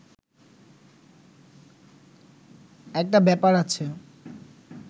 একটা ব্যাপার আছে